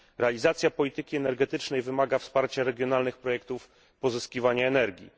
Realizacja polityki energetycznej wymaga wsparcia regionalnych projektów pozyskiwania energii.